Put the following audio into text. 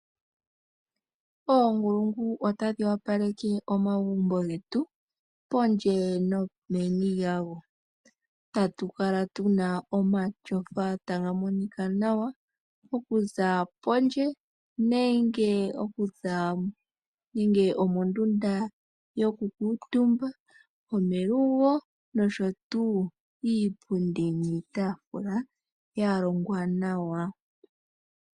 Oonkulungu otadhi opaleke omagumbo getu pondje nomeni lyago, tatukala tuna omatyofa taga monika nawa okuza pondje nenge mondunda yokukutumba, melungo nosho tuu iipundi niitafula yalongwa nawa.